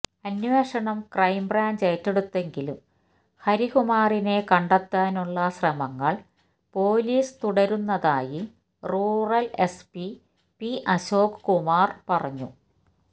അന്വേഷണം ക്രൈംബ്രാഞ്ച് ഏറ്റെടുത്തെങ്കിലും ഹരികുമാറിനെ കണ്ടെത്താനുളള ശ്രമങ്ങള് പൊലീസ് തുടരുന്നതായി rural SP P Ashok Kumar പറഞ്ഞു